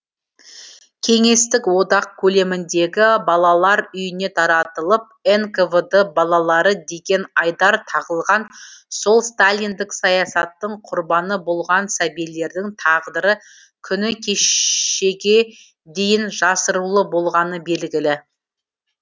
кеңестік одақ көлеміндегі балалар үйіне таратылып нквд балалары деген айдар тағылған сол сталиндік саясаттың құрбаны болған сәбилердің тағдыры күні кешеге дейін жасырулы болғаны белгілі